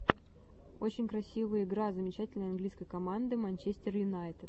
очень красивые игра замечательный английской команды манчестер юнайтед